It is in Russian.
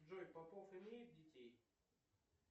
джой попов имеет детей